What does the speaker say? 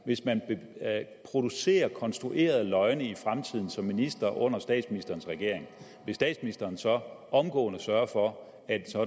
hvis man producerer konstruerede løgne i fremtiden som minister under statsministerens regering vil statsministeren så omgående sørge for at